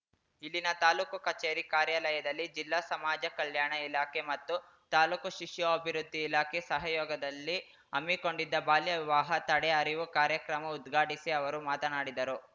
ಇಲ್ಲಿನ ತಾಲೂಕು ಕಚೇರಿ ಕಾರ್ಯಾಲಯದಲ್ಲಿ ಜಿಲ್ಲಾ ಸಮಾಜ ಕಲ್ಯಾಣ ಇಲಾಖೆ ಮತ್ತು ತಾಲೂಕು ಶಿಶು ಅಭಿವೃದ್ಧಿ ಇಲಾಖೆ ಸಹಯೋಗದಲ್ಲಿ ಹಮ್ಮಿಕೊಂಡಿದ್ದ ಬಾಲ್ಯವಿವಾಹ ತಡೆ ಅರಿವು ಕಾರ್ಯಕ್ರಮ ಉದ್ಘಾಟಿಸಿ ಅವರು ಮಾತನಾಡಿದರು